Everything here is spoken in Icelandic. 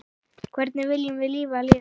Hvernig viljum við lifa lífinu?